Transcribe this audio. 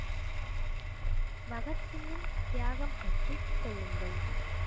பகத் சிங்கின் தியாகம்பற்றிச் சொல்லுங்கள்.